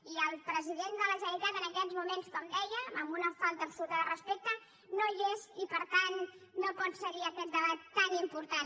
i el president de la generalitat en aquests moments com deia amb una falta absoluta de respecte no hi és i per tant no pot seguir aquest debat tan important